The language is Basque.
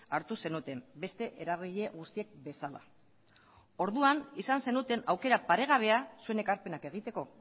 hartu zenuten beste eragile guztiek bezala orduan izan zenuten aukera paregabea zuen ekarpenak egiteko